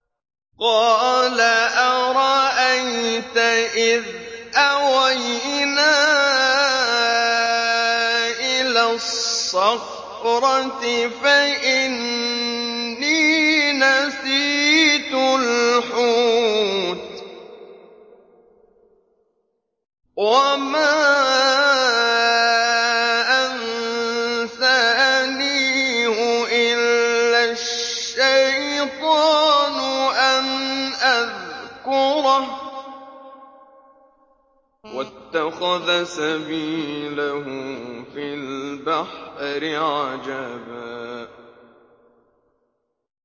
قَالَ أَرَأَيْتَ إِذْ أَوَيْنَا إِلَى الصَّخْرَةِ فَإِنِّي نَسِيتُ الْحُوتَ وَمَا أَنسَانِيهُ إِلَّا الشَّيْطَانُ أَنْ أَذْكُرَهُ ۚ وَاتَّخَذَ سَبِيلَهُ فِي الْبَحْرِ عَجَبًا